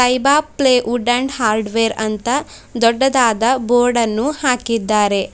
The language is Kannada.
ತೖಬಾ ಪ್ಲೇವುಡ್ ಅಂಡ್ ಹಾರ್ಡ್ವೇರ್ ಅಂತ ದೊಡ್ಡದಾದ ಬೋರ್ಡನ್ನು ಹಾಕಿದ್ದಾರೆ.